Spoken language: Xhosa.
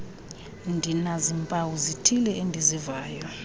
ndinazimpawu zithile endizivayo